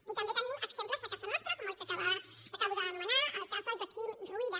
i també tenim exemples a casa nostra com el que acabo d’anomenar el cas de la joaquim ruyra